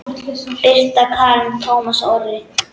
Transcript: Birta Karen og Tómas Orri.